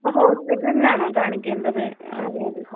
അപ്പൊ ഹോസ്പിറ്റലിൽ ആണോ കാണിക്കേണ്ടത്?